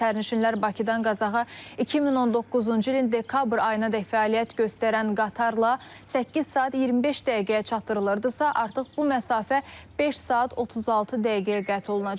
Sərnişinlər Bakıdan Qazaxa 2019-cu ilin dekabr ayınadək fəaliyyət göstərən qatarla 8 saat 25 dəqiqəyə çatdırılırdısa, artıq bu məsafə 5 saat 36 dəqiqəyə qət olunacaq.